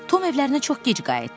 Tom evlərinə çox gec qayıtdı.